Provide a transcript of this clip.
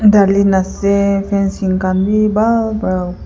dalhi na ase fencing khan bi buhal pra.